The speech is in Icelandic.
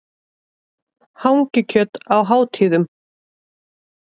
Hangikjöt á hátíðum.